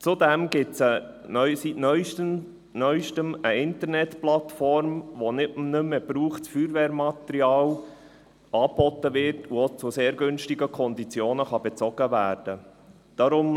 Zudem gibt es seit Neuestem eine Internetplattform, über welche nicht mehr gebrauchtes Feuerwehrmaterial angeboten wird und auch zu sehr günstigen Konditionen bezogen werden kann.